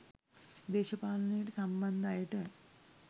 දේශපාලනයට සම්බන්ධ අයට